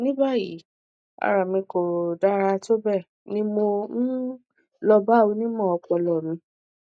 ní báyìí ara mi kò dára tó bẹẹ ni mo um lọ bá onímọ ọpọlọ mi